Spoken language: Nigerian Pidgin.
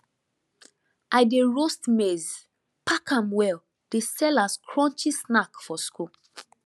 i dey roast maize pack am well dey sell as crunchy snack for school